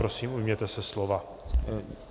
Prosím, ujměte se slova.